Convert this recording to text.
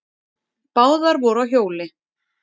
Báðar voru á hjóli.